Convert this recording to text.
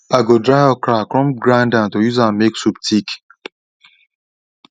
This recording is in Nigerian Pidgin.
i go dry okra come grind am to use am make soup thick